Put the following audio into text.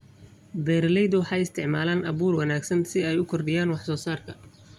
Beeraleydu waxay isticmaalaan abuur wanaagsan si ay u kordhiyaan wax-soo-saarka.